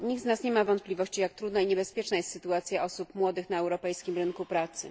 Nikt z nas nie ma wątpliwości, jak trudna i niebezpieczna jest sytuacja osób młodych na europejskim rynku pracy.